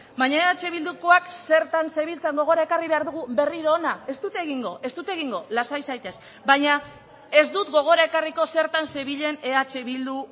baina eh bildukoak zertan zebiltzan gogora ekarri behar dugu berriro hona ez dut egingo ez dut egingo lasai zaitez baina ez dut gogora ekarriko zertan zebilen eh bildu